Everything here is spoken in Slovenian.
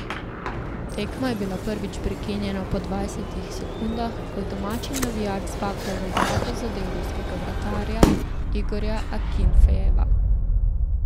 Tekma je bila prvič prekinjena po dvajsetih sekundah, ko je domači navijač z baklo v glavo zadel ruskega vratarja Igorja Akinfejeva.